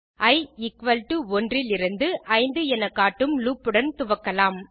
E equal to 1 லிருந்து 5 என காட்டும் லூப் உடன் துவக்கலாம்